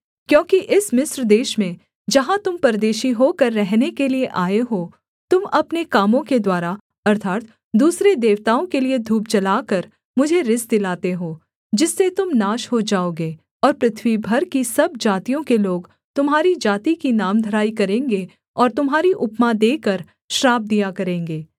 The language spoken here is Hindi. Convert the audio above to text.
क्योंकि इस मिस्र देश में जहाँ तुम परदेशी होकर रहने के लिये आए हो तुम अपने कामों के द्वारा अर्थात् दूसरे देवताओं के लिये धूप जलाकर मुझे रिस दिलाते हो जिससे तुम नाश हो जाओगे और पृथ्वी भर की सब जातियों के लोग तुम्हारी जाति की नामधराई करेंगे और तुम्हारी उपमा देकर श्राप दिया करेंगे